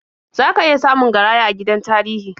Za ka iya samun garaya a gidan tarihi.